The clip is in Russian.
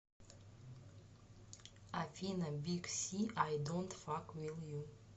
афина биг син ай донт фак виз ю